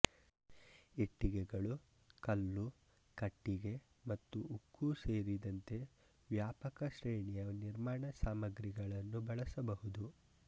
ಇಟ್ಟಿಗೆಗಳು ಕಲ್ಲು ಕಟ್ಟಿಗೆ ಮತ್ತು ಉಕ್ಕು ಸೇರಿದಂತೆ ವ್ಯಾಪಕ ಶ್ರೇಣಿಯ ನಿರ್ಮಾಣ ಸಾಮಗ್ರಿಗಳನ್ನು ಬಳಸಬಹುದು